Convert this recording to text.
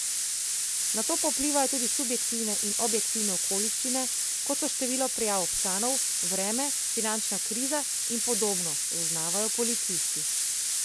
Na to pa vplivajo tudi subjektivne in objektivne okoliščine, kot so število prijav občanov, vreme, finančna kriza in podobno, zaznavajo policisti.